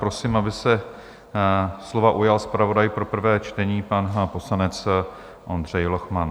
Prosím, aby se slova ujal zpravodaj pro prvé čtení, pan poslanec Ondřej Lochman.